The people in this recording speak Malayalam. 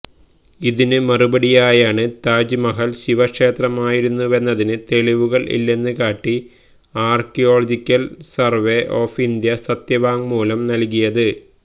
ഇതിന് മറുപടിയായാണ് താജ്മഹല് ശിവ ക്ഷേത്രമായിരുന്നുവെന്നതിന് തെളിവുകള് ഇല്ലെന്ന് കാട്ടി ആര്ക്കിയോളജിക്കല് സര്വെ ഓഫ് ഇന്ത്യ സത്യവാങ്മൂലം നല്കിയത്